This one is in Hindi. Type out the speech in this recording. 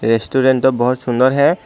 रेस्टोरेंट तो बहोत सुंदर है।